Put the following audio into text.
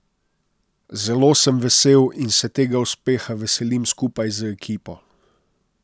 Zelo sem vesel in se tega uspeha veselim skupaj z ekipo.